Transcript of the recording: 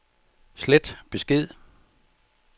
slet besked